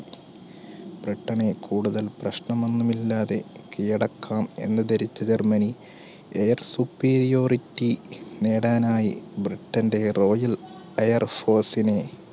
പെട്ടെന്ന് കൂടുതൽ പ്രശ്നം ഒന്നും ഇല്ലാതെ കീഴടക്കാം എന്ന് ധരിച്ച ജർമ്മനി air superiority നേടാനായി ബ്രിട്ടന്റെ royal air force നെ